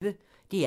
DR P1